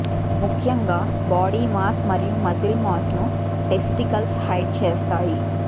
ముఖ్యంగా body mass మరియు muscle mass ను టెస్టికల్స్ హైడ్ చేస్తాయి